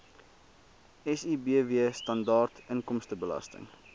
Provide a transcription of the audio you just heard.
sibw standaard inkomstebelasting